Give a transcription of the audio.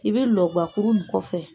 I bɛ l gwwakuru in kɔfɛ.